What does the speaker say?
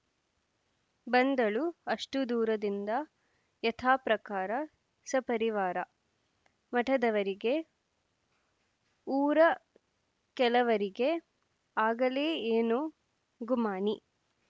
ಬಂದಳುಅಷ್ಟು ದೂರದಿಂದ ಯಥಾಪ್ರಕಾರ ಸಪರಿವಾರ ಮಠದವರಿಗೆಊರ ಕೆಲವರಿಗೆ ಆಗಲೇ ಏನೋ ಗುಮಾನಿ